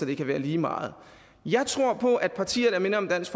det kan være lige meget jeg tror på at partier der minder om dansk